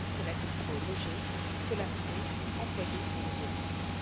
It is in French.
C'est là qu'il faut loger, scolariser, employer les nouveaux venus.